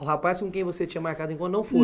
O rapaz com quem você tinha marcado encontro não foi?